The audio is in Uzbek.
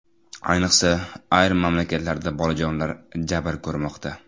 Ayniqsa, ayrim mamlakatlarda bolajonlar jabr ko‘rmoqda.